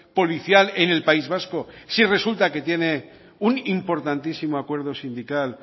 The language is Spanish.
policial en el país vasco si resulta que tiene un importantísimo acuerdo sindical